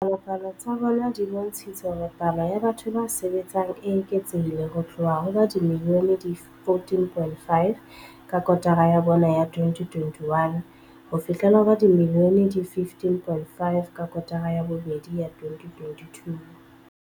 Dipalopalo tsa bona di bontshitse hore palo ya batho ba sebetsang e eketsehile ho tloha ho ba dimilione di 14.5 ka kotara ya bone ya 2021 ho fihlela ho ba dimilione di 15.5 ka kotara ya bobedi ya 2022.